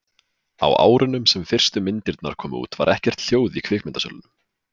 á árunum sem fyrstu myndirnar komu út var ekkert hljóð í kvikmyndasölunum